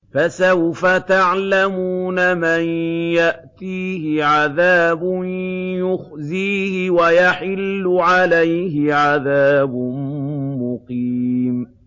فَسَوْفَ تَعْلَمُونَ مَن يَأْتِيهِ عَذَابٌ يُخْزِيهِ وَيَحِلُّ عَلَيْهِ عَذَابٌ مُّقِيمٌ